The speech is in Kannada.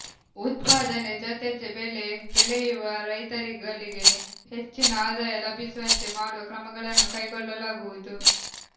ಉತ್ಪಾದನೆ ಜತೆ ಬೆಳೆ ಬೆಳೆಯುವ ರೈತರುಗಳಿಗೆ ಹೆಚ್ಚಿನ ಆದಾಯ ಲಭಿಸುವಂತೆ ಮಾಡುವ ಕ್ರಮಗಳನ್ನು ಕೈಗೊಳ್ಳಲಾಗುವುದು